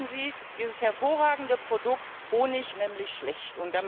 Damit reden Sie dieses hervorragende Produkt Honig nämlich schlecht.